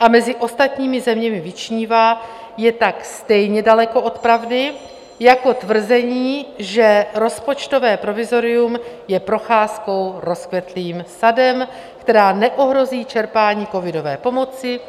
a mezi ostatními zeměmi vyčnívá, je tak stejně daleko od pravdy jako tvrzení, že rozpočtové provizorium je procházkou rozkvetlým sadem, která neohrozí čerpání covidové pomoci,